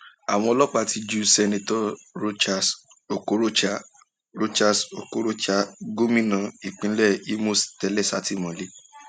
àwọn ọlọpàá ti ju seneto rochas okorocha rochas okorocha gómìnà ìpínlẹ imo tẹlẹ sátìmọlé